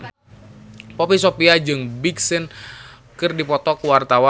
Poppy Sovia jeung Big Sean keur dipoto ku wartawan